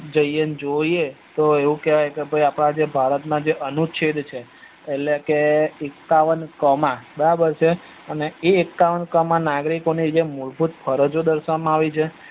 જઈએ ન જોઈએ તો એવું કેવાય કે ભાઈ અપડા જે ભારત ના અનુચ્છેદ છે એટલે કે એકાવન કોમા બરાબર છે એ એકાવન કોમા નાગરિકો ની મૂળ ભૂત ફરજો દર્શાવામાં આવે છે